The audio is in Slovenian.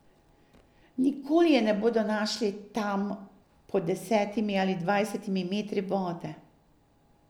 Nikoli je ne bodo našli, tam, pod desetimi ali dvajsetimi metri vode.